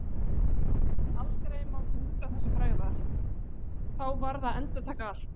Aldrei mátti út af þessu bregða, þá varð að endurtaka allt.